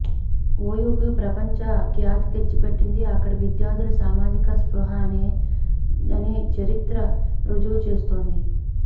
ఒయుకి ప్రపంచ ఖ్యాతి తెచ్చి పెట్టింది అక్కడి విద్యార్థుల సామాజిక స్పృహనే అని చరిత్ర రుజువు చేస్తోంది